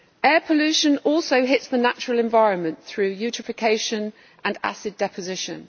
Air pollution also hits the natural environment through eutrophication and acid deposition.